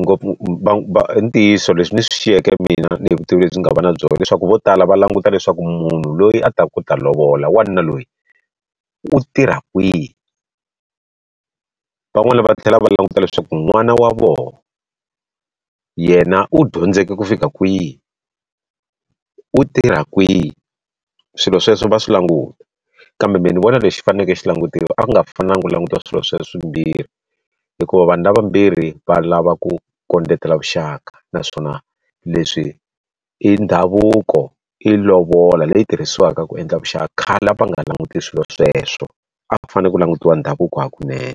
ngopfu va va ntiyiso leswi ni swi xiyeke mina ni vutivi lebyi nga na byona leswaku vo tala va languta leswaku munhu loyi a ta ku ku ta lovola wanuna loyi u tirha kwihi van'wana va tlhela va languta leswaku n'wana wa vona yena u dyondzeke ku fika kwihi u tirha kwihi swilo sweswo va swi languta kambe mina ni vona lexi faneleke xi langutiwa a nga fanelangi ku languta swilo leswimbirhi hikuva vanhu lava vambirhi va lava ku kondletela vuxaka naswona leswi i ndhavuko i lovola leyi tirhisiwaka ku endla vuxaka khale a va nga languti swilo sweswo a fanele ku langutiwa ndhavuko hakunene.